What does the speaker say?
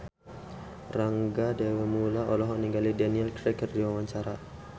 Rangga Dewamoela olohok ningali Daniel Craig keur diwawancara